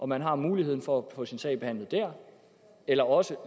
man har muligheden for at få sin sag behandlet der eller også